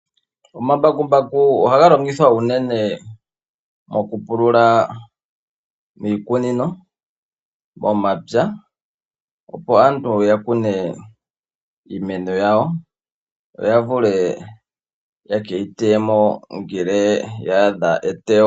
Omambakumbaku ohaga longithwa unene mokupulula miikunino, momapya opo aantu ya kune iimeno yawo, yo ya vule ya ke yi teye mo ngele ya adha eteyo.